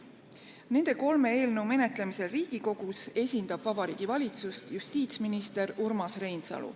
Nende kolme eelnõu menetlemisel Riigikogus esindab Vabariigi Valitsust justiitsminister Urmas Reinsalu.